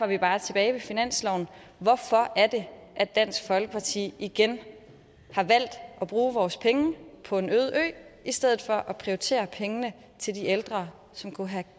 vi bare tilbage ved finansloven hvorfor er det at dansk folkeparti igen har valgt at bruge vores penge på en øde ø i stedet for at prioritere pengene til de ældre som kunne have